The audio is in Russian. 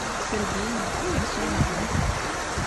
сергеем самсоновым